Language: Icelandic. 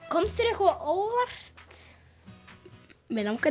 kom þér eitthvað á óvart mig langar